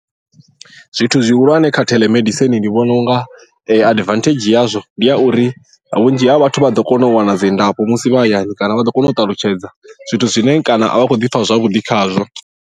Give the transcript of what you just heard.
Zwithu zwihulwane kha telemedicine ndi vhona unga advantage yazwo ndi ya uri vhunzhi ha vhathu vha ḓo kona u wana dzi ndafho musi vha hayani kana vha ḓo kona u ṱalutshedza zwithu zwine kana a vha khou ḓi pfha zwavhuḓi khazwo.